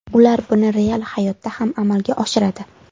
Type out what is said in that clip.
Ular buni real hayotda ham amalga oshiradi.